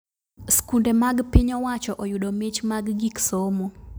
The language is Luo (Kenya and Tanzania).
Skunde mag piny owacho oyudo mich mag gik somo